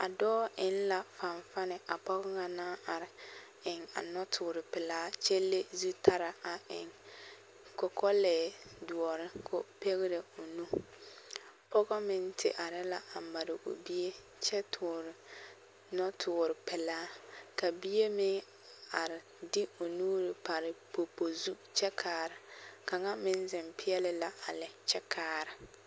A dɔɔ eŋ la fanfani a pɔge ŋa naŋ are eŋ a nɔtoore pelaa kyɛ le zutaraa a eŋ kɔkɔlɛɛ doɔre k'o pɛgerɛ o nu, pɔgɔ meŋ te are la a mare o bie kyɛ toore nɔtoore pelaa ka bie meŋ are de o nuuri pare popo zu kyɛ kaara, kaŋa meŋ zeŋ peɛle la a lɛ kyɛ kaara.